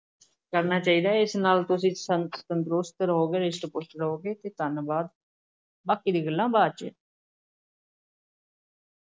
ਕਰਨਾ ਚਾਹੀਦਾ ਹੈ, ਇਸ ਨਾਲ ਤੁਸੀਂ ਤੰਦ~ ਤੰਦਰੁਸਤ, ਰਿਸ਼ਟ-ਪੁਸ਼ਟ ਰਹੋਂਗੇ ਅਤੇ ਧੰਨਵਾਦ ਬਾਕੀ ਦੀਆਂ ਗੱਲ੍ਹਾਂ ਬਾਅਦ 'ਚ।